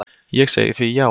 Ég segi því já.